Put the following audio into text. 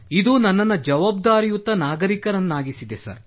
ಇದು ನನ್ನನ್ನು ಜವಾಬ್ದಾರಿಯುತ ನಾಗರಿಕನನ್ನಾಗಿಸಿದೆ ಸರ್